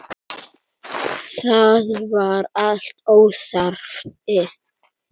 Það var allt óþarfi.